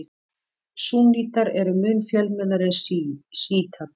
Súnnítar eru mun fjölmennari en sjítar.